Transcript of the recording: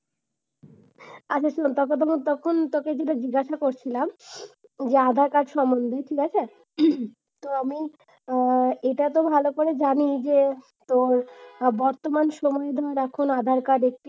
আগে শোন তোর কথা তো তোকে শুধু জিজ্ঞাস করছিলাম যে আধার-কার্ড সমন্ধে। ঠিক আছে? তো আমি হম এটাতো ভালো করে জানি যে, তোর বর্তমান সময়ে দেখ এখন আধার-কার্ডে,